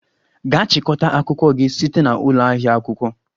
Gaa chịkọta akwụkwọ gị site na ụlọ ahịa akwụkwọ!